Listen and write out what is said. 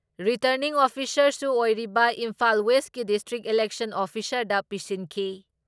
Returning ꯑꯣꯐꯤꯁꯥꯔꯁꯨ ꯑꯣꯏꯔꯤꯕ ꯏꯝꯐꯥꯜ ꯋꯦꯁꯀꯤ ꯗꯤꯁꯇ꯭ꯔꯤꯛ ꯏꯂꯦꯛꯁꯟ ꯑꯣꯐꯤꯁꯥꯔꯗ ꯄꯤꯁꯤꯟꯈꯤ ꯫